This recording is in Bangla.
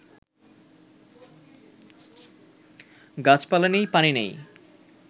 গাছপালা নেই, পানি নেই